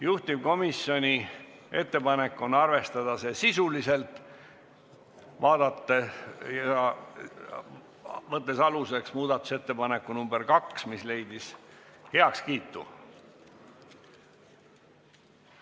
Juhtivkomisjoni ettepanek on arvestada seda sisuliselt, võttes aluseks muudatusettepaneku nr 2, mis leidis heakskiidu.